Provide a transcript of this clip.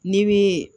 N'i bi